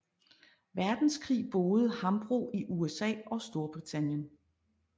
Verdenskrig boede Hambro i USA og Storbritannien